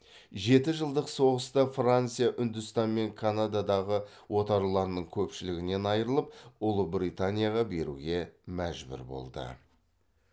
жеті жылдық соғыста франция үндістан мен канададағы отарларының көпшілігінен айрылып ұлыбританияға беруге мәжбүр болды